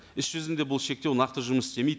іс жүзінде бұл шектеу нақты жұмыс істемейді